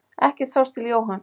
Ekkert sást til Jóhanns.